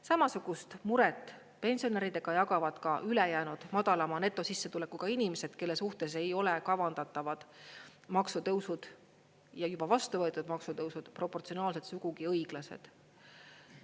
Samasugust muret pensionäridega jagavad ka ülejäänud madalama netosissetulekuga inimesed, kelle suhtes ei ole kavandatavad maksutõusud ja juba vastu võetud maksutõusud proportsionaalselt sugugi õiglased.